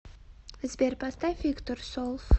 сбер поставь виктор солф